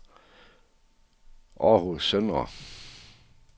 Århus Søndre